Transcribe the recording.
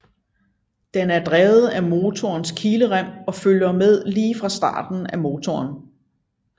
Den er drevet af motorens kilerem og følger med lige fra start af motoren